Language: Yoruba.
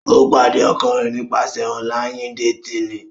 O pade ọkọ rẹ nipasẹ ọnlayin-detini.